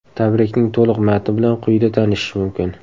Tabrikning to‘liq matni bilan quyida tanishish mumkin.